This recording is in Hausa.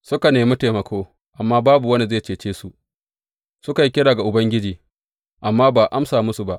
Suka nemi taimako, amma babu wanda zai cece su, suka yi kira ga Ubangiji, amma ba a amsa musu ba.